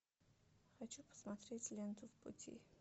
хочу посмотреть ленту в пути